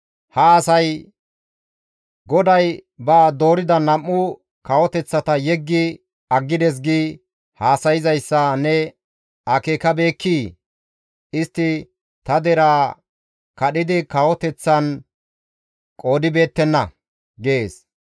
«Ha asay, ‹GODAY ba doorida nam7u kawoteththata yeggi aggides› gi haasayzayssa ne akeekabeekkii? Istti ta deraa kadhidi kawoteththan qoodibeettenna» gees.